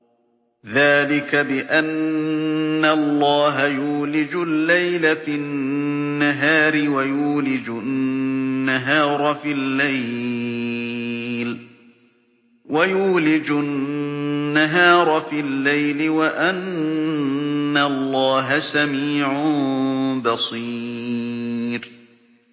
ذَٰلِكَ بِأَنَّ اللَّهَ يُولِجُ اللَّيْلَ فِي النَّهَارِ وَيُولِجُ النَّهَارَ فِي اللَّيْلِ وَأَنَّ اللَّهَ سَمِيعٌ بَصِيرٌ